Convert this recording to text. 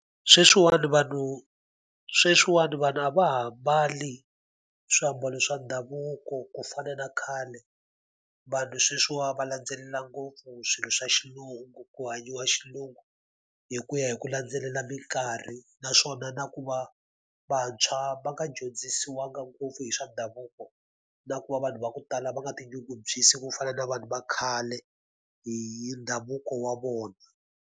Sweswiwani vanhu sweswiwani vanhu a va ha mbali swiambalo swa ndhavuko ku fana na khale, vanhu sweswiwani va landzelela ngopfu swilo swa xilungu ku hanyiwa xilungu. Hi ku ya hi ku landzelela minkarhi naswona na ku va vantshwa va nga dyondzisiwanga ngopfu hi swa ndhavuko, na ku va vanhu va ku tala va nga tinyungubyisi ku fana na vanhu va khale hi ndhavuko wa vona.